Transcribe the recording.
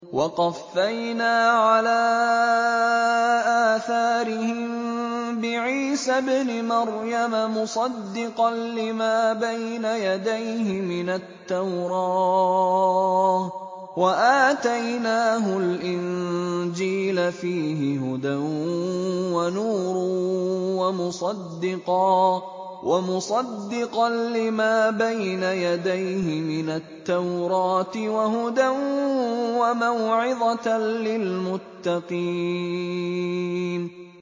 وَقَفَّيْنَا عَلَىٰ آثَارِهِم بِعِيسَى ابْنِ مَرْيَمَ مُصَدِّقًا لِّمَا بَيْنَ يَدَيْهِ مِنَ التَّوْرَاةِ ۖ وَآتَيْنَاهُ الْإِنجِيلَ فِيهِ هُدًى وَنُورٌ وَمُصَدِّقًا لِّمَا بَيْنَ يَدَيْهِ مِنَ التَّوْرَاةِ وَهُدًى وَمَوْعِظَةً لِّلْمُتَّقِينَ